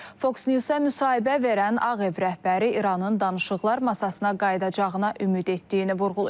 Fox News-a müsahibə verən Ağ Ev rəhbəri İranın danışıqlar masasına qayıdacağına ümid etdiyini vurğulayıb.